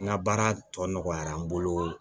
N ka baara tɔ nɔgɔyara n bolo